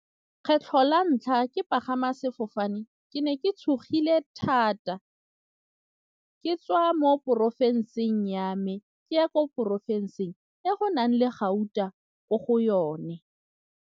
Kgetlho la ntlha ke pagama sefofane ke ne ke tshogile thata ke tswa mo porofensing ya me ke ya ko porofensing ya go nang le gauta ko go yone.